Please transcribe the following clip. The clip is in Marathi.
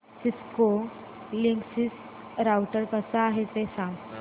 सिस्को लिंकसिस राउटर कसा आहे ते सांग